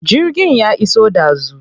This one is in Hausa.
Jirgin ya iso ɗazu.